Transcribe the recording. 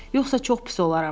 Yoxsa çox pis olaram.